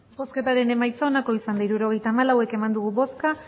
hirurogeita hamalau eman dugu bozka